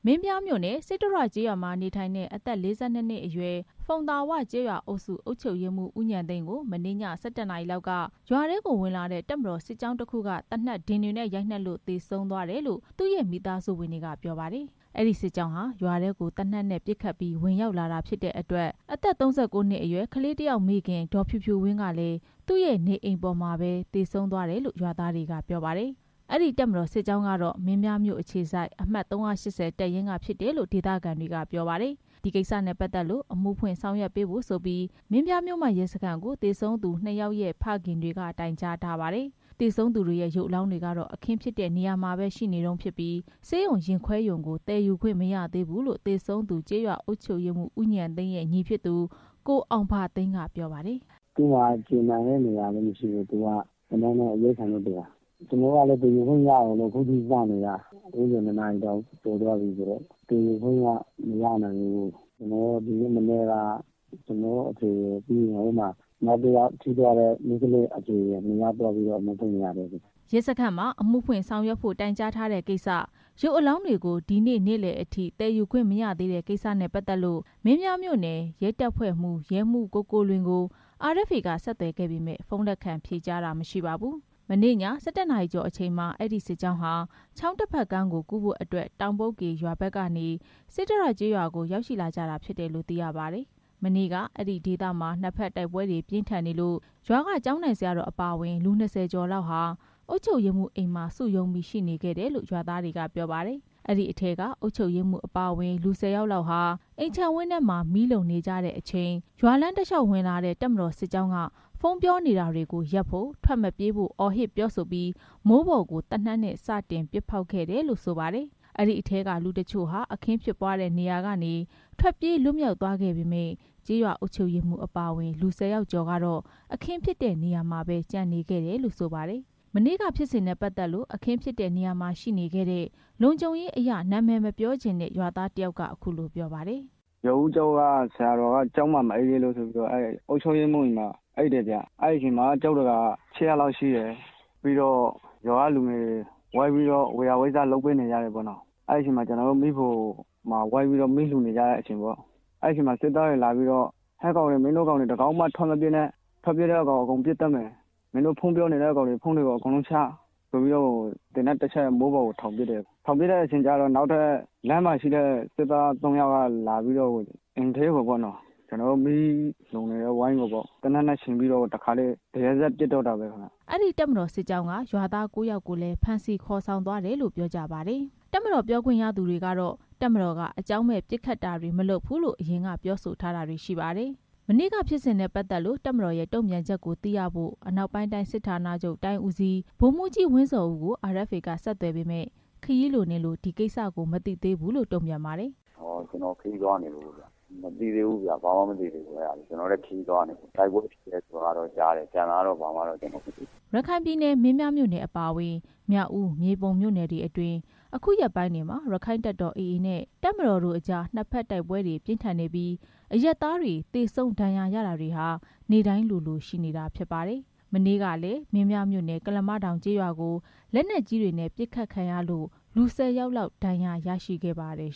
မင်းပြားမြို့နယ် စိတ္တရကျေးရွာမှာနေထိုင်တဲ့ အသက် ၄၂ နှစ်အရွယ် ဖုံသာဝကျေးရွာအုပ်စု အုပ်ချုပ်ရေးမှူး ဦးဉာဏ်သိန်းကို မနေ့ည ၁၁ နာရီလောက်က တပ်မတော်စစ်ကြောင်းတစ်ခုက ဝင်ရောက် လာပြီးနောက် သေနတ်ဒင်တွေနဲ့ ရိုက်နှက်လို့ သေဆုံးသွားတယ်လို့ သူ့ရဲ့ မိသားစုကပြောပါတယ်။ အဲဒီ တပ်မတော်စစ်ကြောင်းဟာ ရွာကိုပစ်ခတ်ပြီး ဝင်ရောက်လာတာဖြစ်တဲ့အတွက် အသက် ၃၉ နှစ် အရွယ် ကလေးတစ်ယောက်ရဲ့မိခင် ဒေါ်ဖြူဖြူဝင်းဟာလည်း သူ့ရဲ့နေအိမ်ပေါ်မှာပဲသေဆုံးသွားတယ်လို့ ရွာသားတွေက ပြောပါတယ်။ အဲဒီ တပ်မတော်စစ်ကြောင်းဟာ မင်းပြားမြို့အခြေစိုက် အမှတ်-၃၈၀ တပ်ရင်းက ဖြစ်တယ်လို့လည်း ဒေသခံ တွေက ပြောကြပါတယ်။ ဒီကိစ္စနဲ့ပတ်သက်လို့ မင်းပြားမြို့မရဲစခန်းကို အမှုဖွင့်ဆောင်ရွက်ပေးဖို့ မိသားစုဝင်တွေက သေဆုံးသူ နှစ်ဦးရဲ့ ဖခင်တွေက တိုင်ကြားထားပါတယ်။ သေဆုံးသူတွေရဲ့ ရုပ်အလောင်းတွေကတော့ အခင်းဖြစ်နေရာမှာပဲ ရှိနေဆဲဖြစ်ပြီး ဆေးရုံရင်ခွဲရုံကို သယ်ယူခွင့် မရသေးဘူးလို့ သေဆုံးသူ ကျေးရွာအုပ်ချုပ်ရေးမှူး ဦးဉာဏ်သိန်းရဲ့ ညီဖြစ်သူ ကိုအောင်ဘသိန်းကပြောပါတယ်။ “သူ့မှာက ကျည်မှန်တဲ့နေရာတော့မရှိဘူး။ သူကသေနတ်နဲ့ အရိုက်ခံရလို့သေတာ။ ကျွန်တော်တို့က အလောင်းကို သယ်ယူခွင့်ရအောင်လို့ စောင့်နေတာ။ အခုနေ့လယ် ၂ နာရီ တောင်ကျော်သွားပြီဆိုတော့ သယ်ယူခွင့်က မရနိုင်သေးဘူး။ ဒီနေ့မနက်က ကျွန်တော့အဖေရယ်၊ ပြီးရင်ရွာထဲမှာ နောက်တစ်ယောက် ကျည်ထိမှန်သွား သူရဲ့အဖေ က ရဲစခန်းမှာတော့ တိုင်ကြားထားတယ်” ရဲစခန်းမှာ အမှုဖွင့်ဆောင်ရွက်ဖို့ တိုင်ကြားထားတဲ့ကိစ္စနဲ့ ရုပ်အလောင်းတွေကို ဒီနေ့ နေ့လယ်ပိုင်းအထိ သယ်ယူခွင့် မရသေးတဲ့ ကိစ္စနဲ့ပတ်သက်လို့ မင်းပြားမြို့နယ် ရဲတပ်ဖွဲ့မှူး ရဲမှူး ကိုကိုလွင်ကို RFA က ဆက်သွယ်ခဲ့ပေမယ့် ဖုန်းလက်ခံဖြေကြားခြင်းမရှိပါဘူး။ မနေ့ည ၁၁ နာရီ ကျော်အချိန်မှာ အဲဒီတပ်မတော်စစ်ကြောင်းဟာ ချောင်းတစ်ဘက်ကမ်းကို ကူးဖို့အတွက် တောင်ပုတ်ကေရွာဘက်ကနေ စိတ္တရကျေးရွာကို ရောက်ရှိလာခဲ့ကြတာ ဖြစ်တယ်လို့သိရပါတယ်။ မနေ့က အဲဒီဒေသမှာ နှစ်ဘက်တိုက်ပွဲတွေ ပြင်းထန်နေလို့ ရွာကကျောင်းထိုင်ဆရာတော်အပါအဝင် ရွာသား ၂၀ ကျော်ခန့်ဟာ အုပ်ချုပ်ရေးမှူးအိမ်မှာ စုရုံးပြီး ရှိနေခဲ့တယ်လို့ ရွာသားတွေကပြောပါတယ်။ အဲဒီအထဲက အုပ်ချုပ်ရေးမှူးအပါအဝင် လူ ၁၀ ဦးခန့်ဟာ အိမ်ခြံဝင်းအတွင်းမှာ မီးလှုံနေကြချိန်မှာ ရွာလမ်း တစ်လျှောက်ဝင်လာတဲ့ တပ်မတော်စစ်ကြောင်းက ဖုန်းပြောနေတာတွေကိုရပ်ဖို့၊ ထွက်မပြေးဖို့ အော်ဟစ် ပြောဆိုပြီး မိုးပေါ်ကိုသေနတ်နဲ့ စတင်ပစ်ဖောက်ခဲ့တယ်လို့ဆိုပါတယ်။ အဲဒီအထဲက လူအချို့ဟာ အခင်းဖြစ်နေရာကနေ ထွက်ပြေးလွတ်မြောက်သွားခဲ့ပေမယ့် ကျေးရွာအုပ်ချုပ်ရေးမှူး အပါအဝင် လူ ၁၀ ကျော်လောက်ကတော့ အခင်းဖြစ်နေရာမှာပဲကျန်ခဲ့ကြတယ်လို့ ဆိုပါတယ်။ မနေ့က ဖြစ်စဉ်နဲ့ပတ်သက်လို့ အခင်းဖြစ်နေရာမှာရှိနေခဲ့တဲ့ လုံခြုံရေးအရ အမည်မဖော်လိုတဲ့ ရွာသားတစ်ဦးက အခုလိုပြောပါတယ်။ “ရွာဦးကျောင်းက ဆရာတော်က ကျောင်းမှာမအိပ်ရဲလို့ဆိုပြီးတော့ အုပ်ချုပ်ရေးမှူးအိမ်မှာအိပ်တယ်ဗျ။ အဲဒီအချိန်မှာ ကျောင်းဒကာ ရှစ်ယောက်လောက်ရှိတယ်။ ပြီးတော့ ရွာကလူတွေလည်း ဝေယျာဝိစ္စတွေ ဝိုင်းပြီးတော့ လုပ်ပေးနေကြတယ်ပေါ့နော််။ ကျွန်တော်တို့က မီးဖိုမှာ အားလုံးဝိုင်းပြီးတော့ မီးလှုံနေကြတဲ့ အချိန်ပေါ့။ အဲဒီအချိန်မှာ စစ်သားတွေလာပြီးတော့ ဟေ့ကောင်တွေ မင်းတို့တွေ တစ်ကောင်မှထွက်မပြေးနဲ့၊ ထွက်ပြေးတဲ့ကောင်တွေကို အကုန်ပစ်သတ်မယ်၊ မင်းတို့ ဖုန်းပြောနေတဲ့ကောင်တွေ ဖုန်းတွေကို အကုန်လုံး ချဆိုပြီးတော့ သေနတ်တစ်ချက် မိုးပေါ်ကိုထောင်ပစ်တယ်။ ထောင်ပစ်တဲ့အချိန်ကျတော့ လမ်းမှာရှိနေတဲ့ စစ်သား သုံးယောက်က အိမ်ထဲကိုဝင်လာပြီးတော့ ကျွန်တော်တို့ မီးလှုံနေတဲ့ဝိုင်းကိုပေါ့ သေနတ်နဲ့ချိန်ပြီးတော့ တရစပ်ပစ်တော့တာပဲ” အဲဒီတပ်မတော်စစ်ကြောင်းက ရွာသား ကိုးဦးကိုလည်း ဖမ်းဆီးခေါ်ဆောင်သွားတယ်လို့ ကျေးရွာသား တွေကပြောပါတယ်။ တပ်မတော် ပြောခွင့်ရသူတွေကတော့ တပ်မတော်က အကြောင်းမဲ့ပစ်ခတ်တာတွေ မလုပ်ဘူးလို့ ပြောဆို ထားကြပါတယ်။ မနေ့ကဖြစ်စဉ်နဲ့ ပတ်သက်လို့ တပ်မတော်ရဲ့တုံ့ပြန်ချက်ကိုသိရဖို့ အနောက်ပိုင်း တိုင်းစစ်ဌာနချုပ် တိုင်းဦးစီး ဗိုလ်မှူးကြီး ဝင်းဇော်ဦးကို RFA ကဆက်သွယ်ခဲ့ပေမယ့် ခရီးလွန်နေလို့ ဒီကိစ္စကို မသိသေးဘူးလို့ပြောပါတယ်။ “ကျွန်တော်ခရီးသွားနေလို့ဗျ။ မသိသေးဘူးဗျ။ ဘာမှမသိသေးဘူး အဲဒါကို။ ကျွန်တော်လည်း ခရီးသွားနေလို့။ တိုက်ပွဲဖြစ်တယ် ဆိုတာလောက်ပဲကြားတယ်။ ကျန်တာကတော့ ဘာမှာတော့ ကျွန်တော်မသိ သေးဘူး” ရခိုင်ပြည်နယ် မင်းပြားမြို့နယ်အပါအဝင်၊ မြောက်ဦး၊ မြေပုံ မြို့နယ်တွေမှာ အခုရက်ပိုင်းတွေမှာ ရက္ခိုင့်တပ်တော် AA နဲ့ အစိုးရတပ်တို့အကြား နှစ်ဘက်တိုက်ပွဲတွေ ပြင်းထန်နေပြီး အရပ်သားတွေ သေဆုံးဒဏ်ရာရတာတွေဟာ နေ့စဉ်လိုလိုရှိနေတာဖြစ်ပါတယ်။ မနေ့ကလည်း မင်းပြားမြို့နယ် ကုလားမတောင်ကျေးရွာကို လက်နက်ကြီးတွေနဲ့ ပစ်ခတ်ခံရလို့ လူ ၁၀ ဦးခန့် ထိခိုက်ဒဏ်ရာရခဲ့ ကြပါတယ်